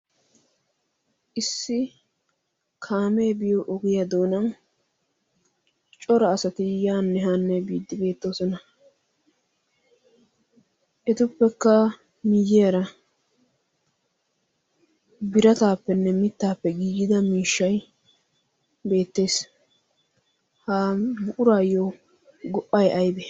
issi kaamee biyo ogiya doonan cora asati yaanne haanne biddi beettoosona. etuppekka miyiyaara birataappenne mittaappe giigida miishshai beettees .ha buuraayyo go77ai aibe?